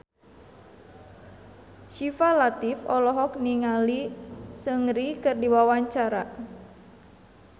Syifa Latief olohok ningali Seungri keur diwawancara